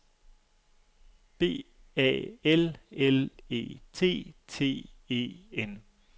B A L L E T T E N